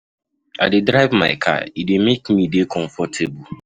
I dey drive my car, e dey make me dey comfortable.